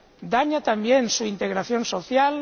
Daña también su integración social.